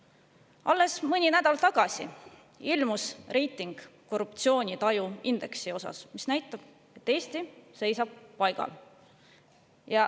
Alles mõni nädal tagasi ilmus meie reiting korruptsioonitaju indeksi osas, mis näitab, et Eesti seisab paigal.